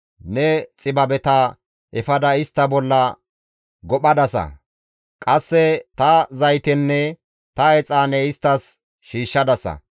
Ne xibabeta efada istta bolla gophadasa; qasse ta zaytenne ta exaane isttas shiishshadasa.